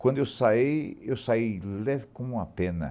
Quando eu saí, eu saí leve como uma pena.